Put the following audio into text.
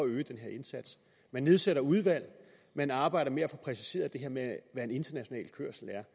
øge den her indsats man nedsætter udvalg man arbejder med at få præciseret det her med hvad international kørsel er